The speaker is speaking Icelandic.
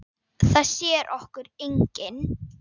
Það sér okkur enginn.